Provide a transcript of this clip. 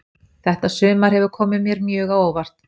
Þetta sumar hefur komið mér mjög á óvart.